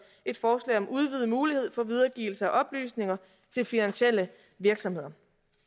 et forslag om udvidet mulighed for videregivelse af oplysninger til finansielle virksomheder